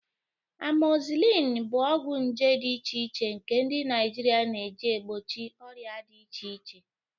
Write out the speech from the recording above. Amozisilin bụ ọgwụ nje dị iche iche nke ndị Naijiria na-eji egbochi ọrịa dị iche iche.